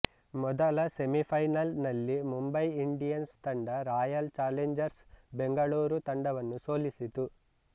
ಮೊದಲ semi final ನಲ್ಲಿ Mumbai Indians ತಂಡ ರಾಯಲ್ ಚಾಲೆಂಜರ್ಸ್ ಬೆಂಗಳೂರು ತಂಡವನ್ನು ಸೊಲಿಸಿತು